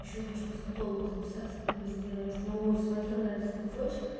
ещё хочу косметологу записаться губы сделать но смотрю на этот кружочек